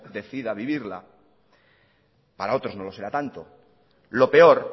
decida vivirla para otros no lo será tanto lo peor